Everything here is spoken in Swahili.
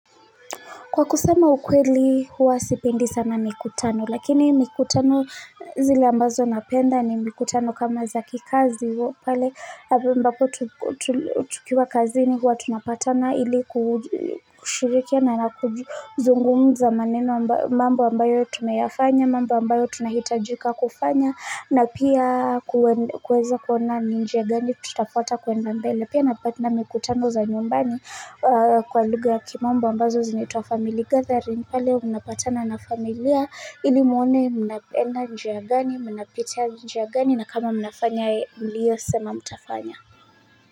Kwa kusama ukweli, huwa sipendi sana mikutano, lakini mikutano zile ambazo napenda ni mikutano kama za kikazi, wa pale ambapo tulikua tukiwa kazini huwa tunapatana ili kushirikiana na kuzungumuza maneno, mambo ambayo tumeyafanya, mambu ambayo tunahitajika kufanya, na pia kuweza kuona ni njia gani tutafuata kwenda mbele. Pia mikutano za nyumbani, kwa lugha ya kimombo ambazo zinaitwa family gathering, pale mnapatana na familia ili muone mnaenda njia gani, mnapitia njia gani na kama mnafanya mliosema mtafanya.